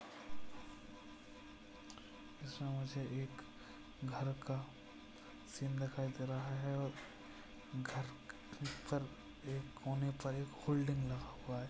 इसमे मुझे एक घर का सीन दिख रहा है और घर एक कोने पर एक होल्डिंग लगा हुआ है।